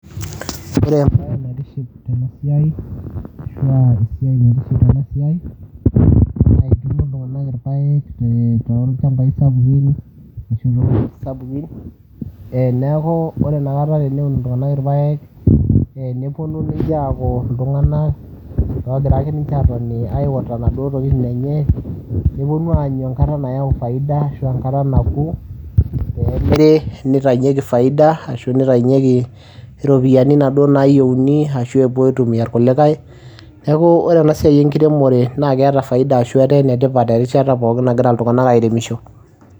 Ore embaye naitiship tena siai ashu aa esiai naitiship tena siai naa etuuno iltung'anak irpaek tolchambai sapukin ashu too sapukin, ee neeku ore inakata teneun iltung'anak irpaek ee neponu ninche aaku iltung'anak loogira ake ninche aatoni aiwota inaduo tokitin enye, neponu aanyu enkata nayau faida ashu enkata naku peemiri nitayunyeki faida, ashu nitayunyeki iropiani inaduo naayeuni ashu epuo aitumia irkulikai. Neeku ore ena siai enkiremore naake eeta faida ashu etaa ene tipat erishata pookin nagira iltung'anak airemisho.